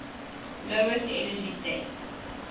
lowest energy state